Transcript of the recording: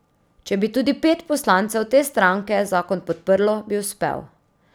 Če bi tudi pet poslancev te stranke zakon podprlo, bi uspel.